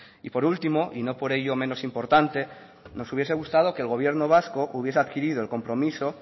y por último y no por ello menos importante nos hubiese gustado que el gobierno vasco hubiese adquirido el compromiso